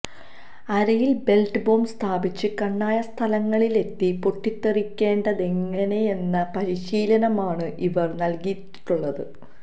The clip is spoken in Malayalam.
അരയില് ബെല്റ്റ് ബോംബ് സ്ഥാപിച്ച് കണ്ണായ സ്ഥലങ്ങളിലെത്തി പൊട്ടിത്തെറിക്കേണ്ടതെങ്ങനെയെന്ന പരിശീലനമാണ് ഇവര് നല്കിയിട്ടുള്ളത്